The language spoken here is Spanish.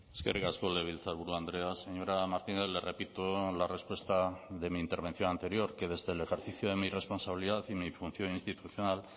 eskerrik asko legebiltzarburu andrea señora martínez le repito la respuesta de mi intervención anterior que desde el ejercicio de mi responsabilidad y mi función institucional